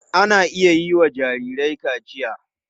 Ana iya yiwa jarirai kaciya.